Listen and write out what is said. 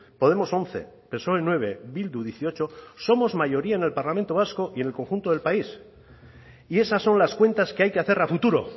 podemos once psoe nueve bildu dieciocho somos mayoría en el parlamento vasco y en el conjunto del país y esas son las cuentas que hay que hacer a futuro